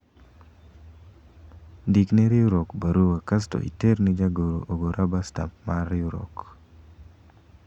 ndikne riwruok barua kasto iterne jagoro ogo raba stamp mar riwruok